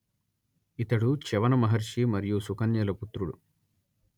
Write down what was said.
ఇతడు చ్యవన మహర్షి మరియు సుకన్యల పుత్రుడు